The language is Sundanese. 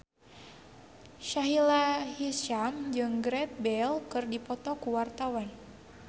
Sahila Hisyam jeung Gareth Bale keur dipoto ku wartawan